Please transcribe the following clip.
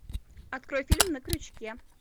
открой фильм на крючке